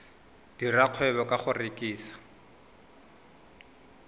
dira kgwebo ka go rekisa